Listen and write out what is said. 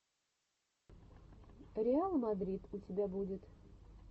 реал мадрид у тебя будет